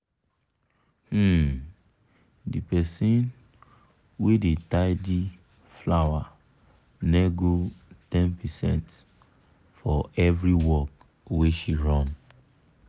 um the person wey da tidy flower nego ten percent for every work wey she run